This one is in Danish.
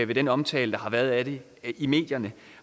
ved den omtale der har været af det i medierne